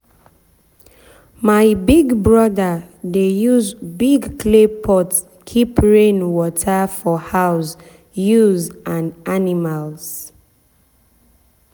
my big brother dey use big clay pot keep rain water for house use and animals.